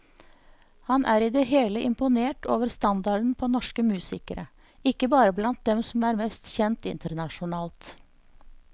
Han er i det hele imponert over standarden på norsk musikere, ikke bare blant dem som er mest kjent internasjonalt.